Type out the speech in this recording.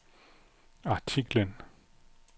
artiklen